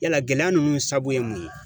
Yala gɛlɛya ninnu sabu ye mun ye